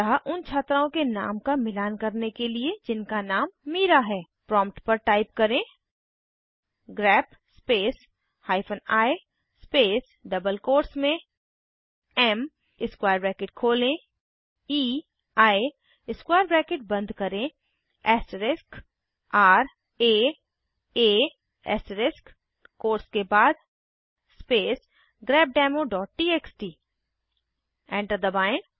अतः उन छात्राओं के नाम का मिलान करने के लिए जिनका नाम मीरा है प्रॉम्प्ट पर टाइप करें grep space hyphen I space double quotes में एम स्क्वायर ब्रैकेट खोलें ईआई स्क्वायर ब्रैकेट बंद करें ऐस्टरिस्क र आ आ ऐस्टरिस्क कोट्स के बाद स्पेस grepdemoटीएक्सटी एंटर दबाएं